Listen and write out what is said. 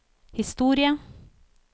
historie